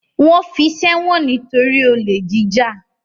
Wọ́n fi í sẹ́wọ̀n nítorí olè jíjà.